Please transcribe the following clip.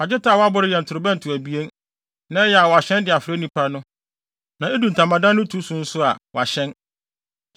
“Fa dwetɛ a wɔaboro yɛ ntorobɛnto abien, na ɛyɛ a wɔahyɛn de afrɛ nnipa no, na edu ntamadan no tu so nso a, wɔahyɛn.